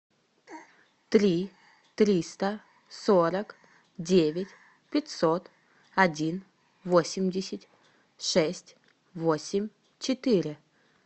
три триста сорок девять пятьсот один восемьдесят шесть восемь четыре